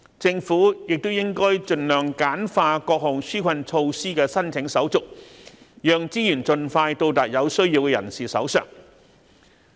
政府亦應該盡量簡化各項紓困措施的申請手續，讓資源盡快到達有需要人士的手上。